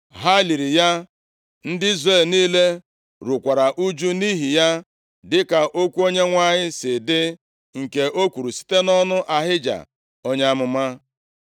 Ha liri ya, ndị Izrel niile rukwara ụjụ nʼihi ya, dịka okwu Onyenwe anyị si dị, nke o kwuru site nʼọnụ Ahija, onye amụma.